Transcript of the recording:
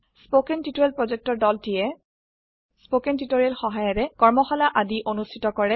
কথন শিক্ষণ প্ৰকল্পৰ দলটিয়ে কথন শিক্ষণ সহায়িকাৰে কৰ্মশালা আদি অনুষ্ঠিত কৰে